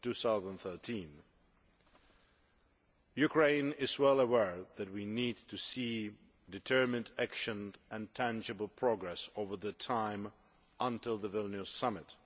2013. Ukraine is well aware that we need to see determined action and tangible progress over the period until the Vilnius Summit.